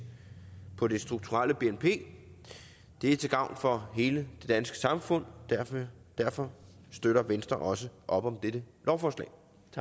på det strukturelle bnp det er til gavn for hele det danske samfund derfor derfor støtter venstre også op om dette lovforslag